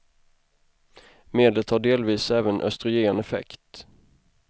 Medlet har delvis även östrogen effekt.